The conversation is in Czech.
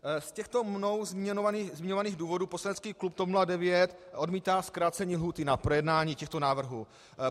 Z těchto mnou zmiňovaných důvodů poslanecký klub TOP 09 odmítá zkrácení lhůty na projednání těchto návrhů.